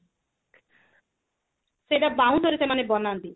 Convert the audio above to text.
ସେଟା ବାଉଁଶ ରେ ସେମାନେ ବନାନ୍ତି